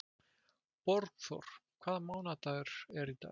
Borgþór, hvaða mánaðardagur er í dag?